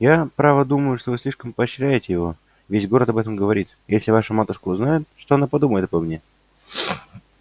я право думаю что вы слишком поощряете его и весь город об этом говорит и если ваша матушка узнает что она подумает обо мне